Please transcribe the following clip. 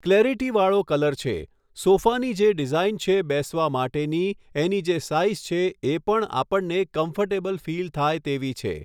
કલૅરિટિવાળો colour છે સોફાની જે ડીઝાઇન છે બેસવા માટેની એની જે સાઇઝ છે એ પણ આપણને કમ્ફોર્ટેબલ ફીલ થાય તેવી છે